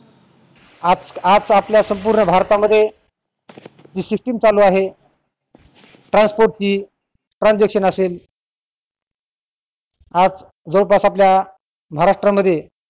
आज आज आपल्या संपूर्ण भारतामध्ये जी system चालू आहे TRANSPORT ची transaction असेल आज जवळ पास आपल्या महाराष्ट्रा मध्ये